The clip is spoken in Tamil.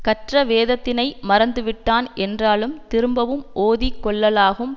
கற்ற வேதத்தினை மறந்துவிட்டான் என்றாலும் திரும்பவும் ஓதி கொள்ளலாகும்